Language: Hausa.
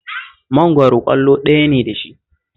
Mangwaro ƙwallo ɗaya ne da shi